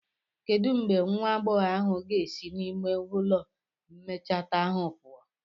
Kedu mgbe nwa agbọghọ ahụ ga-esi n'ime ụlọ mecheta ahụ pụọ?